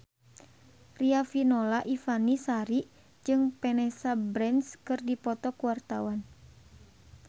Riafinola Ifani Sari jeung Vanessa Branch keur dipoto ku wartawan